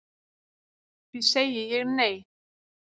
Því segi ég nei